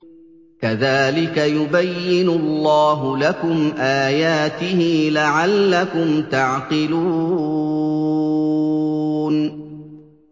كَذَٰلِكَ يُبَيِّنُ اللَّهُ لَكُمْ آيَاتِهِ لَعَلَّكُمْ تَعْقِلُونَ